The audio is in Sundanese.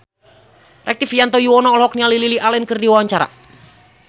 Rektivianto Yoewono olohok ningali Lily Allen keur diwawancara